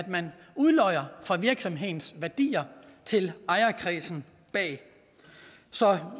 man udlodder af virksomhedens værdier til ejerkredsen bag så jeg